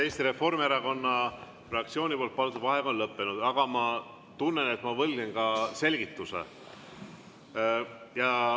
Eesti Reformierakonna fraktsiooni palutud vaheaeg on lõppenud, aga ma tunnen, et ma võlgnen ka selgituse.